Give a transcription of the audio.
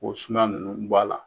O suman ninnu bɔ a la.